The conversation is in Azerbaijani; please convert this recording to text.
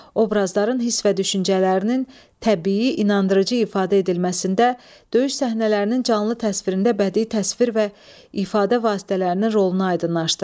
Obrazların hiss və düşüncələrinin təbii inandırıcı ifadə edilməsində, döyüş səhnələrinin canlı təsvirində bədii təsvir və ifadə vasitələrinin rolunu aydınlaşdırın.